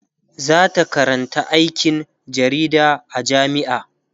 zata Karanta aikin jarida a jamia